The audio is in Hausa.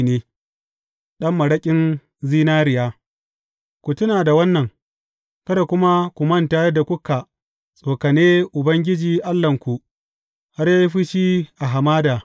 Ɗan maraƙin zinariya Ku tuna da wannan, kada kuma ku manta yadda kuka tsokane Ubangiji Allahnku, har ya yi fushi a hamada.